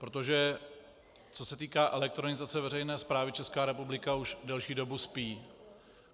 Protože co se týká elektronizace veřejné správy, Česká republika už delší dobu spí.